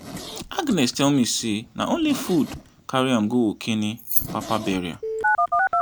agnes tell me say na only food carry am go ekene papa burial